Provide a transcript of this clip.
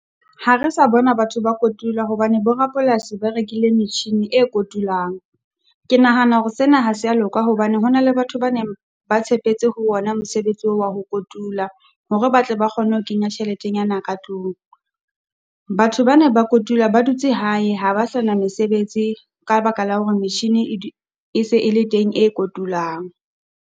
Ha re sa bona batho ba kotula hobane bo rapolasi ba rekile machine e kotulang. Ke nahana hore sena ha se ya loka hobane ho na le batho ba neng ba tshepetse ho ona mosebetsi oo wa ho kotula, hore ba tle ba kgone ho kenya tjheletenyana ka tlung. Batho ba ne ba kotula ba dutse hae ha ba sa na mesebetsi ka lebaka la hore machine e e se ele teng e kotulang.